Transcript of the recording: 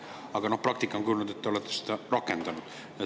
Aga praktika on kujunenud selliseks, et te olete seda rakendanud.